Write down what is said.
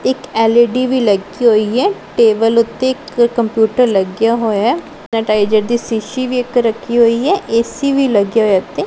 ਇੱਕ ਐਲਈਡੀ ਵੀ ਲੱਗੀ ਹੋਈ ਹੈ ਟੇਬਲ ਉੱਤੇ ਇੱਕ ਕੰਪਿਊਟਰ ਲੱਗਿਆ ਹੋਇਆ ਨਟਾਈਜਰ ਦੀ ਸ਼ੀਸ਼ੀ ਵੀ ਇੱਕ ਰੱਖੀ ਹੋਈ ਹੈ ਏਸੀ ਵੀ ਲੱਗਿਆ ਹੋਇਆ ਇਥੇ--